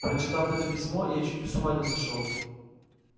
прочитав это письмо я чуть с ума не сошёл